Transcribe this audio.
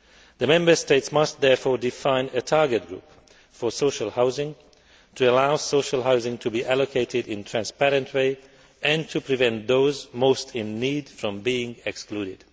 The Member States must therefore define a target group for social housing to allow social housing to be allocated in a transparent way and to prevent those most in need from being excluded.